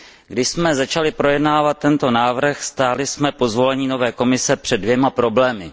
Když jsme začali projednávat tento návrh, stáli jsme po zvolení nové Komise před dvěma problémy.